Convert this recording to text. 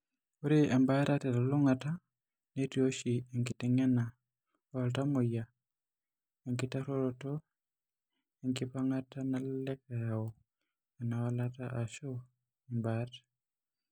Ore embaata telulung'ata netii oshi enkiteng'ena ooltamuoyia, enking'uaroto enkipang'ata nalelek eyau enawalata, o/ashu imbaat.